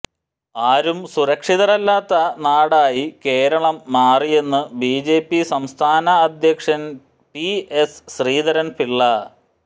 ആരും സുരക്ഷിതരല്ലാത്ത നാടായി കേരളം മാറിയെന്ന് ബിജെപി സംസ്ഥാന അധ്യക്ഷന് പി എസ് ശ്രീധരന് പിള്ള